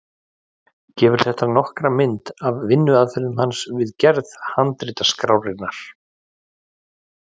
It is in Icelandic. Gefur þetta nokkra mynd af vinnuaðferð hans við gerð handritaskrárinnar.